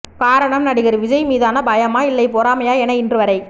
காரணம் நடிகர் விஜய் மீதான பயமா இல்லை பொறாமையா என இன்று வரை